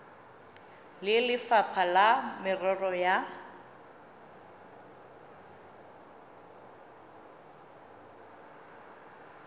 le lefapha la merero ya